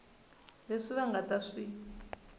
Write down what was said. leswi va nga ta swi